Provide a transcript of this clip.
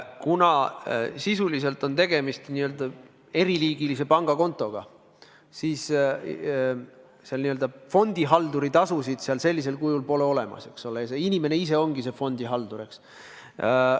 Kuna sisuliselt on tegemist teatud eri liiki pangakontoga, siis seal fondihalduri tasu pole olemas – eks ole, inimene ise ongi fondihaldur.